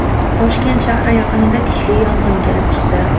Toshkent shahri yaqinida kuchli yong‘in kelib chiqdi.